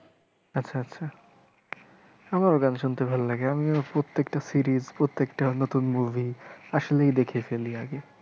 আচ্ছা আচ্ছা আমার গান শুনতে ভাল্লাগে আমিও প্রত্যেকটা series প্রত্যেকটা নতুন movie আসলেই দেখে ফেলি আগে।